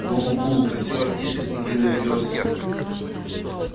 гу-гу-гу красивая птичка снегирь на берёзе